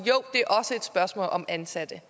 spørgsmål om ansatte